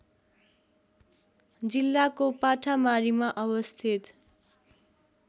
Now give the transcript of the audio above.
जिल्लाको पाठामारीमा अवस्थित